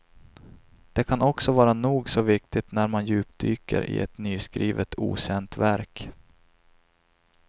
Det kan också vara nog så viktigt när man djupdyker i ett nyskrivet okänt verk.